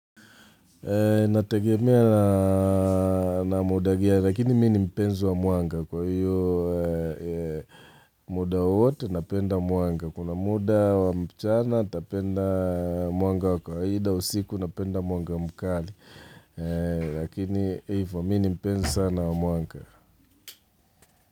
Nategemea na muda gani, lakini mi ni mpenzo wa mwanga kwa hiyo muda wote napenda muanga. Kuna muda wa mchana tapenda mwanga wa kwa haida usiku napenda mwanga mkali. Lakini ivo mi ni mpenzo sana wa mwanga.